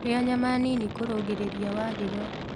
Rĩa nyama nĩnĩ kũrũngĩrĩrĩa wa hĩgo